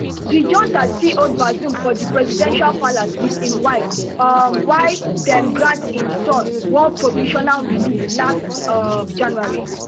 di junta still hold bazoum for di presidential palace wit im wife um while dem grant im son one provisional release last um january